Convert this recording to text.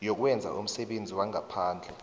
yokwenza umsebenzi wangaphandle